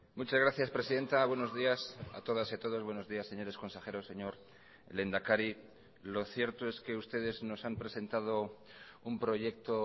muchas gracias presidenta buenos días a todas y a todos buenos días señores consejeros señor lehendakari lo cierto es que ustedes nos han presentado un proyecto